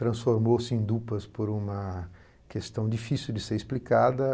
Transformou-se em dupas por uma questão difícil de ser explicada.